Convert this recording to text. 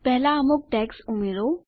પહેલા અમુક ટેગ્સ ઉમેરો